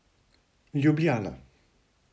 Ljubljana.